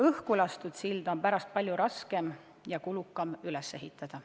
Õhkulastud silda on pärast palju raskem ja kulukam üles ehitada.